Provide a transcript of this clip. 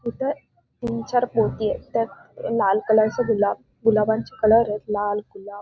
इथ तीन चार पोती येत त्यात लाल कलरचे गुलाब गुलाबांचे कलर येत लाल गुलाब--